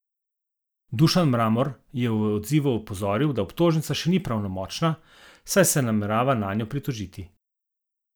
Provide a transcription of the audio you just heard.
Dušan Mramor je v odzivu opozoril, da obtožnica še ni pravnomočna, saj se namerava nanjo pritožiti.